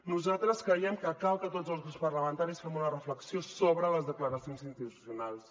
nosaltres creiem que cal que tots els grups parlamentaris fem una reflexió sobre les declaracions institucionals